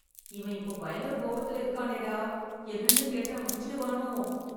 இவன் இப்போ பயங்கர கோவத்துல இருக்கானேடா... என்னன்னு கேட்டா அடிச்சுடுவானோ...